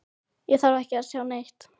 Ég þarf ekki að sjá neitt.